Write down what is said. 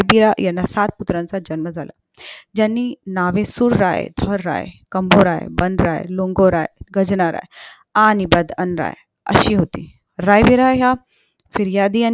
याना सात पुत्रांचा जन्म झाला ज्यांची नावे राय धनराय राय राय बालराय लोंगोराय गाजणाराय आणि राय बदनाराय अशी होती रायबीरा ह्या फिर्यादी